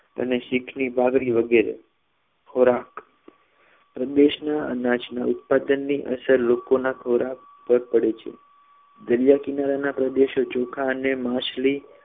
અને શીખની બાબરી વગેરે ખોરાક પ્રદેશના અનાજ ના ઉત્પાદનની અસર લોકો ના ખોરાક પર પડે છે દરિયા કિનારાના પ્રદેશો ચોખા અને માછલી